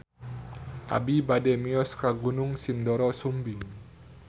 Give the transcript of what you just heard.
Abi bade mios ka Gunung Sindoro Sumbing